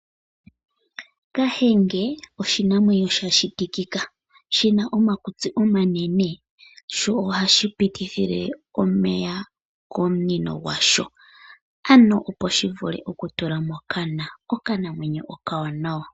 Kahenge oshinamwenyo shashitikika, shi na omakutsi omanene sho ohashi pitithile omeya komunino gwasho ano opo shivule okutula mokana. Okanamwenyo okawanawa.